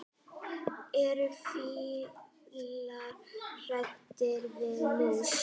Eru fílar hræddir við mýs?